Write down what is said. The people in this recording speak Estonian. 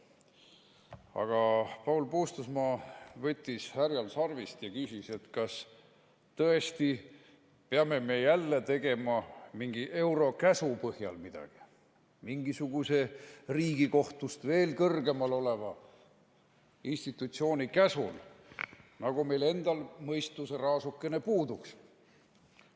Aga Paul Puustusmaa võttis härjal sarvist ja küsis, kas tõesti peame me jälle tegema mingi eurokäsu põhjal midagi, mingisuguse Riigikohtust veel kõrgemal oleva institutsiooni käsul, nagu meil endal mõistuseraasuke puuduks.